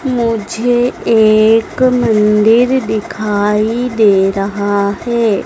मुझे एक मंदिर दिखाई दे रहा है।